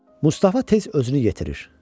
Mustafa tez özünü yetirir.